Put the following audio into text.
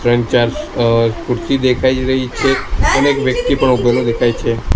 ત્રણ ચાર અ ખુરશી દેખાય રહી છે અને એક વ્યક્તિ પણ ઉભેલો દેખાય છે.